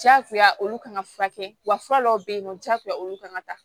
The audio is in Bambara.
Jagoya olu kan ka furakɛ wa fura dɔw be yen nɔ diyagoya olu kan ka taa